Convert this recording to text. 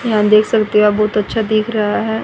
यहां देख सकते आप बहुत अच्छा दिख रहा है।